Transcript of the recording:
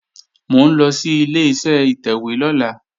Mò ń lọ sí Ileṣẹ́ ìtẹ̀wé lọ́la